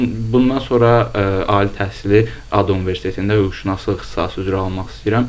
Bundan sonra ali təhsili ADNSU Universitetində hüquqşünaslıq ixtisası üzrə almaq istəyirəm